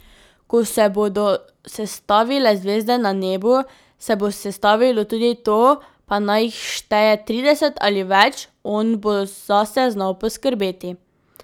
Ko se bodo sestavile zvezde na nebu, se bo sestavilo tudi to, pa naj jih šteje trideset ali več, on bo zase znal poskrbeti.